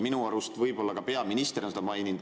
Minu arust ka peaminister on seda maininud.